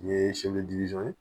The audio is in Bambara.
N ye